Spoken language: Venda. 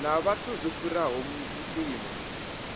na vhathu zwo fhiraho mpimo